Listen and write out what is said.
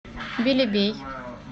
белебей